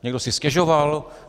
Někdo si stěžoval?